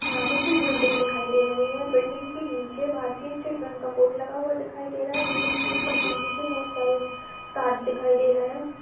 हाँ मुझे बिल्डिंग दिखाई दे रही है। बिल्डिंग के नीचे भारतीय स्टेट बैंक का बोर्ड लगा हुआ दिखाई दे रहा है। बिल्डिंग के ऊपर बिजली के बोहोत सारे तार दिखाई दे रहे हैं।